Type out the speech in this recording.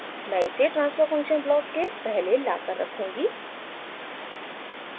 मैं इसे transfer function block के पहले लाकर रखूँगी